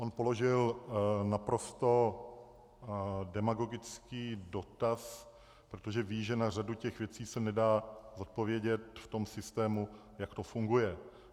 On položil naprosto demagogický dotaz, protože ví, že na řadu těch věcí se nedá odpovědět v tom systému, jak to funguje.